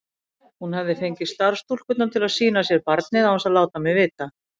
Hún hafði fengið starfsstúlkurnar til að sýna sér barnið án þess að láta mig vita.